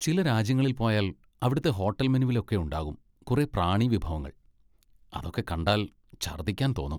ചില രാജ്യങ്ങളിൽ പോയാൽ അവിടുത്തെ ഹോട്ടൽ മെനുവിലൊക്കെ ഉണ്ടാകും കുറേ പ്രാണി വിഭവങ്ങൾ, അതൊക്കെ കണ്ടാൽ ഛർദിക്കാൻ തോന്നും.